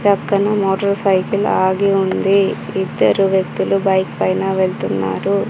పక్కన motor cycle ఆగి ఉంది ఇద్దరు వ్యక్తులు బైక్ పైన వెళ్తున్నారు.